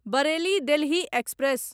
Bareilly Delhi express